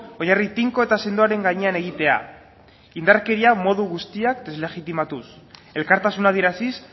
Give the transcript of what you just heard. oinarri tinko eta sendoaren gainean egitea indarkeria modu guztiak deslegitimatuz elkartasuna adieraziz